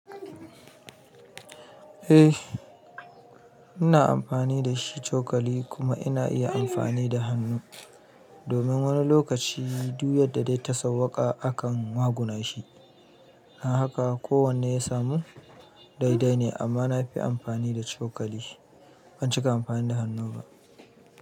Eh ina amfani da shi cokali kuma ina iya amfani da hannu. Domin wani lokaci duk yadda dai ta sauƙa akan waguna shi. Don haka kowane ya samu dai dai ne amma na fi amfani da cokali. Ban cika amfani da hannu ba.